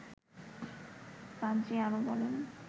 পাদ্রী আরও বলেন